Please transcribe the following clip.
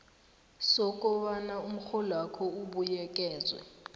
sokobana umrholwakho ubuyekezwe